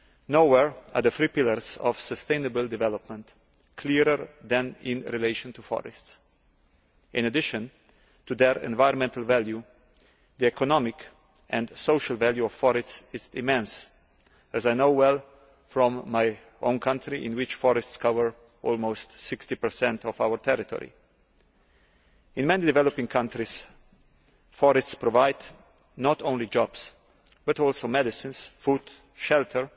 Nowhere are the three pillars of sustainable development clearer than in relation to forests. In addition to their environmental value, the economic and social value of forests is immense, as I know well from my own country in which forests cover almost 60 of our territory. In many developing countries, forests provide not only jobs but also medicines, food and shelter